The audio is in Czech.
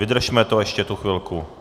Vydržme to ještě tu chvilku.